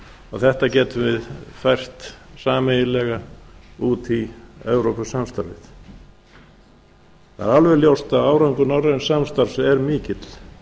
og þetta getum við fært sameiginlega út í evrópusamstarfið það er alveg ljóst að árangur norræns samstarfs er mikill